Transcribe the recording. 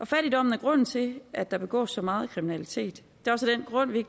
fattigdom er grunden til at der begås så meget kriminalitet tror vi